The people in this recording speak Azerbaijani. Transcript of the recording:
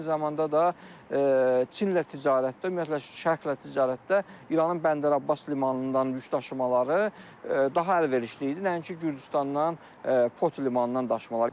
Eyni zamanda da Çinlə ticarətdə, ümumiyyətlə Şərqlə ticarətdə İranın Bəndərabas limanından yük daşımaları daha əlverişli idi, nəinki Gürcüstandan Poti limanından daşımalar.